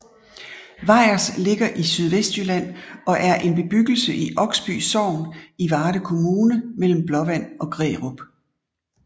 Vejers ligger i Sydvestjylland og er en bebyggelse i Oksby Sogn i Varde Kommune mellem Blåvand og Grærup